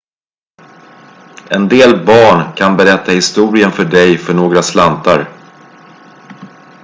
en del barn kan berätta historien för dig för några slantar